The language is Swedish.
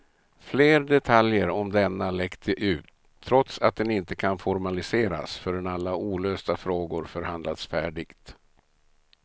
Flera detaljer om denna läckte ut, trots att den inte kan formaliseras förrän alla olösta frågor förhandlats färdigt.